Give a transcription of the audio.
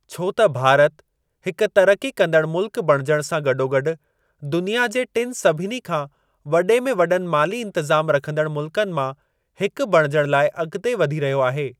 छो त भारत हिक तरक़ी कंदडु मुल्कु बणिजण सां गॾोगॾु दुनिया जे टिनि सभिनी खां वॾे में वॾनि माली इंतज़ाम रखंदड़ मुल्कनि मां, हिकु बणिजण लाइ अगि॒ते वधी रहियो आहे।